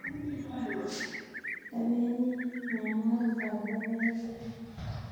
Tabeni mianwogik ab logoek kila